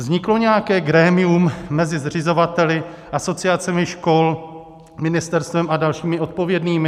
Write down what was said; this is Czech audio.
Vzniklo nějaké grémium mezi zřizovateli, asociacemi škol, ministerstvem a dalšími odpovědnými?